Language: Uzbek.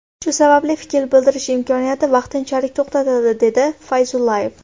Shu sababli fikr bildirish imkoniyati vaqtinchalik to‘xtatildi”, dedi Fayzullayev.